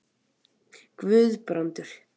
Guðbrandur